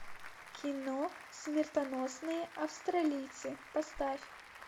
кино смертоносные австралийцы поставь